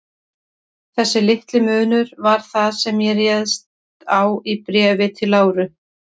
Þessi litli munur var það, sem ég réðst á í Bréfi til Láru.